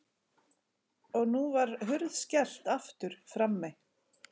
Og nú var hurð skellt aftur frammi.